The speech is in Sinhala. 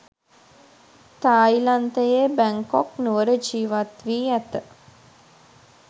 තායිලන්තයේ බැංකොක් නුවර ජීවත්වී ඇත.